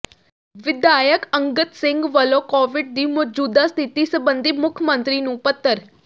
ਵਿਧਾਇਕ ਅੰਗਦ ਸਿੰਘ ਵੱਲੋਂ ਕੋਵਿਡ ਦੀ ਮੌਜੂਦਾ ਸਥਿਤੀ ਸਬੰਧੀ ਮੁੱਖ ਮੰਤਰੀ ਨੂੰ ਪੱਤਰ